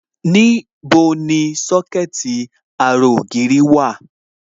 Níbo ni Sọ́kẹ̀tì ara ògiri dà?